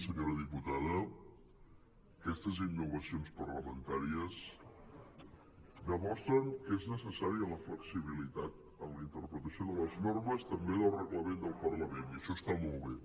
senyora diputada aquestes innovacions parlamentàries demostren que és necessària la flexibilitat en la interpretació de les normes també del reglament del parlament i això està molt bé